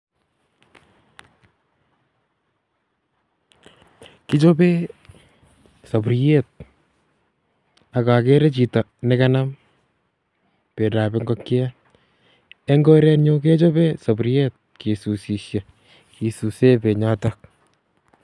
Kichobee saburiet ak agere chito ne kanam bendo ab ingokyet. Eng' korenyu kechobee saburiet kisusishei kisuse benyotok.